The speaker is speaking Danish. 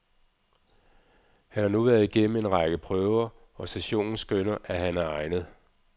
Han har nu været igennem en række prøver, og sessionen skønner, at han er egnet.